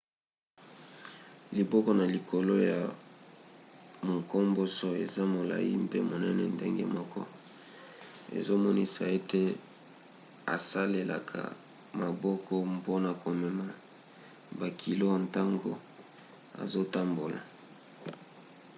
liboko na likolo ya munkomboso eza molai mpe monene ndenge moko ezomonisa ete asalelaka maboko mpona komema bakilo ntango azotambola